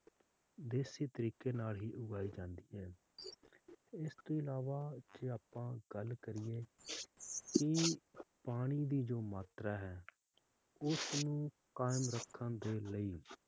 ਦੇਸੀ ਤਰੀਕੇ ਨਾਲ ਹੀ ਉਗਾਈ ਜਾਂਦੀ ਹੈ l ਇਸ ਤੋਂ ਅਲਾਵਾ ਜੇ ਆਪਾਂ ਗੱਲ ਕਰੀਏ ਤਾ ਪਾਣੀ ਦੀ ਜਿਹੜੀ ਮਾਤਰਾ ਹੈ ਉਸਨੂੰ ਕਾਇਮ ਰੱਖਣ ਦੇ ਲਈ